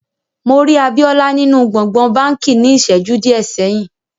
Mo rí Àbíolá nínu gbogbòn bánkì ní íṣẹ́ju diẹ sẹ̀yin.